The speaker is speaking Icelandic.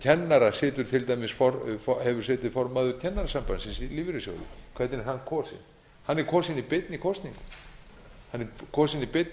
kennara hefur setið formaður kennarasambandsins i lífeyrissjóðunum hvernig er hann kosinn hann er kosinn í beinni kosningu hann er kosinn í beinni